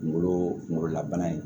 Kunkolo kunkololabana ye